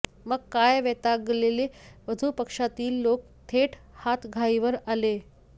मग काय वैतागलेले वधू पक्षातील लोक थेट हातघाईवर आले